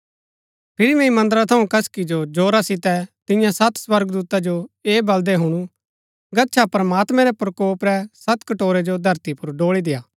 फिरी मैंई मन्दरा थऊँ कसकी जो जोरा सितै तियां सत स्वर्गदूता जो ऐह बलदै हुणु गच्छा प्रमात्मैं रै प्रकोप रै सत कटोरै जो धरती पुर ड़ोळी देय्आ